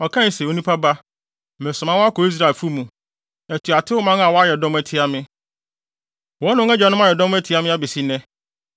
Ɔkae se, “Onipa ba, meresoma wo akɔ Israelfo mu, atuatew man a wayɛ dɔm atia me; wɔne wɔn agyanom ayɛ dɔm atia me abesi nnɛ.